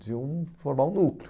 Podiam formar um núcleo.